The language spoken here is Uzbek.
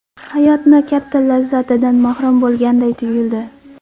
Hayotni katta lazzatidan mahrum bo‘lganday tuyuldi.